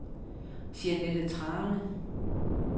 Jeanette Thrane